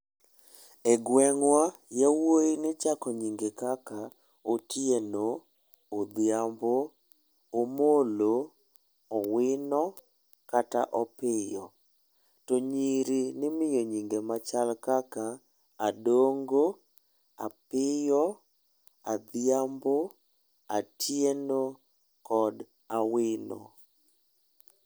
E gweng'wa, yawuoyi nichako nyinge kaka; Otieno, Odhiambo, Omollo, Owino kata Opiyo. To nyiri nimio nyinge machal kaka; Adongo, Apiyo, Adhiambo, Atieno kod Awino.